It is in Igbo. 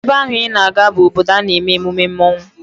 Ebe ahụ I na-aga bụ obodo a na-eme emume mmọnwụ